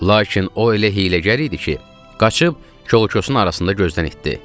Lakin o elə hiyləgər idi ki, qaçıb kol-kosun arasında gözdən itdi.